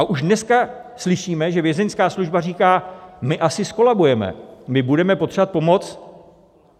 A už dneska slyšíme, že Vězeňská služba říká: My asi zkolabujeme, my budeme potřebovat pomoc.